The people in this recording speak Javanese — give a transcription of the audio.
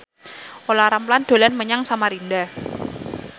Olla Ramlan dolan menyang Samarinda